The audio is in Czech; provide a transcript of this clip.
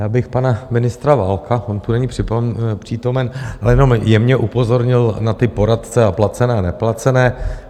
Já bych pana ministra Válka, on tu není přítomen, ale jenom jemně upozornil na ty poradce a placené a neplacené.